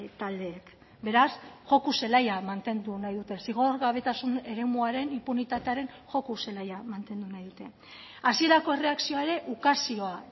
taldeek beraz joko zelaia mantendu nahi dute zigorgabetasun eremuaren inpunitatearen joko zelaia mantendu nahi dute hasierako erreakzioa ere ukazioa